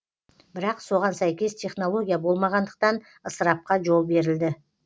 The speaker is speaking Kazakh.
бірақ соған сәйкес технология болмағандықтан ысырапқа жол берілді